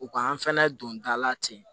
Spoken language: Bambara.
U ka an fɛnɛ don da la ten